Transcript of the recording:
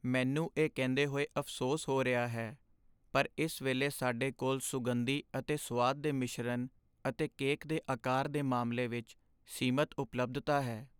ਮੈਨੂੰ ਇਹ ਕਹਿੰਦੇ ਹੋਏ ਅਫ਼ਸੋਸ ਹੋ ਰਿਹਾ ਹੈ, ਪਰ ਇਸ ਵੇਲੇ ਸਾਡੇ ਕੋਲ ਸੁਗੰਧੀ ਅਤੇ ਸੁਆਦ ਦੇ ਮਿਸ਼ਰਨ ਅਤੇ ਕੇਕ ਦੇ ਅਕਾਰ ਦੇ ਮਾਮਲੇ ਵਿੱਚ ਸੀਮਤ ਉਪਲੱਬਧਤਾ ਹੈ।